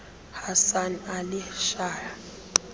hasan ali shah